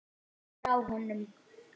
Frá honum!